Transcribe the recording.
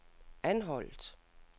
Anholt